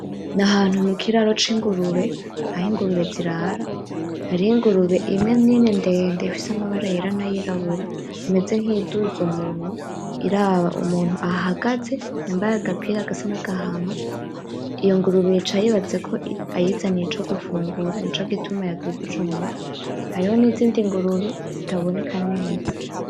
Nahantu mukiraro cingurube, aho ingurube zirara, hari ingurube imwe nini ndende ifise amabara yera nayirabura imeze nkiyi duza umunwa iraba umuntu ahagaze yamabaye agapira gasa nkagahama iyo ngurube ica yibaza ko ayizaniye ico gufungura nico gituma yadugije umutwe, hariho nizindi ngurube zitaboneka neza.